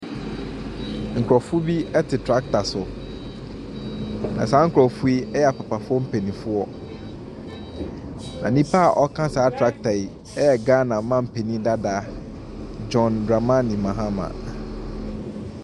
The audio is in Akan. Nkorɔfo bi ɛte trakta so. Na saa nkorɔfo yi ɛyɛ mpapafoɔ mpaninfoɔ. Na nnipa a ɔɔka saa trakta yi yɛ Gaana manpanin dadaa Gyɔn Dramani Mahama.